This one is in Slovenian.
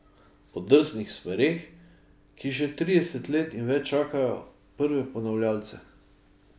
O drznih smereh, ki že trideset let in več čakajo prve ponavljavce.